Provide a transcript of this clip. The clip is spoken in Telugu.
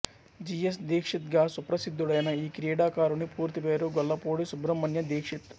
జి ఎస్ దీక్షిత్ గా సుప్రసిద్ధుడైన ఈ క్రీడాకారుని పూర్తిపేరు గొల్లపూడి సుబ్రహ్మణ్య దీక్షిత్